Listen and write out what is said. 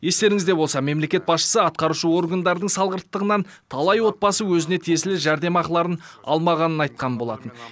естеріңізде болса мемлекет басшысы атқарушы органдардың салғырттығынан талай отбасы өзіне тиесілі жәрдемақыларын алмағанын айтқан болатын